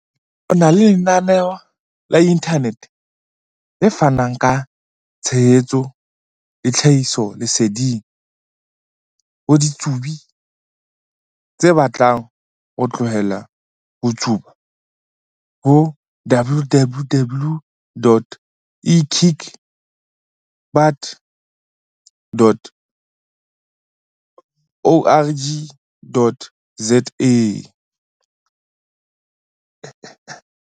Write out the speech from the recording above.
o na le lenaneo la inthanete, le fanang ka tshehetso le tlhahisoleseding ho ditsubi tse batlang ho tlohela ho tsuba ho- www.ekickbutt.org.za.